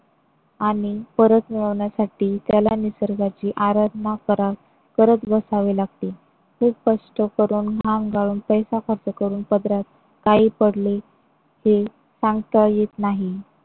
आणि परत मिळवण्यासाठी त्याला निसर्गाची आराधना करा करत बसावी लागते. खूप कष्ट करून घाम गाळून, पैसा खर्च करून पदरात काही पडले हे सांगता येत नाही.